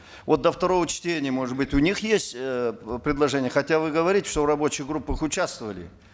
вот до второго чтения может быть у них есть э предложения хотя вы говорите что в рабочих группах участвовали